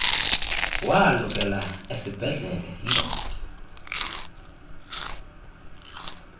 walukela esiibhedlele yindoda